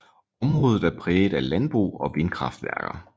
Området er præget af landbrug og vindkraftværker